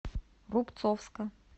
рубцовска